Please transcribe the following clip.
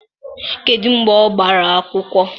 Kedu mgbe ọ gbara akwụkwọ?